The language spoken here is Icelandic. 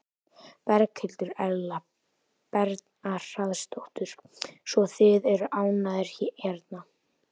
Berghildur Erla Bernharðsdóttur: Svo þið eru ánægðir hérna?